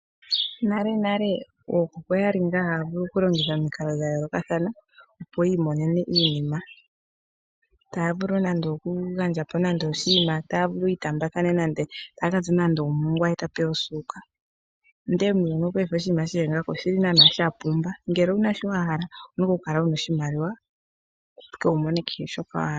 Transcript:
Nalenale ookuku oyali ngaa haya vulu okulongitha omikalo dha yoolokathana opo yi imonene iinima. Taya vulu nando okugandja po nando oshinima taya vulu nando yi itaambathane nande omongwa ye ta pewa osuuka. Ndele muuyuni wopaife oshinima shili ngaaka oshili naanaa sha pumba. Ngele owuna shi wa hala owuna oku kala wuna oshimaliwa opo ihe wu mone kehe shoka wa hala.